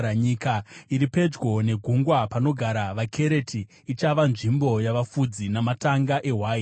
Nyika iri pedyo negungwa, panogara vaKereti, ichava nzvimbo yavafudzi namatanga ehwai.